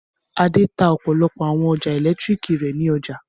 Adé tá ọ̀pọ̀lọpọ̀ àwọn ọjà ẹ̀lẹ́tíríkì rẹ̀ ní ọjà.